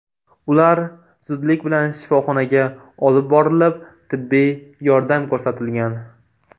Ular zudlik bilan shifoxonaga olib borilib, tibbiy yordam ko‘rsatilgan.